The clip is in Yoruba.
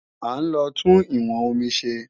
À ń lọ tún ìwọn omi ṣe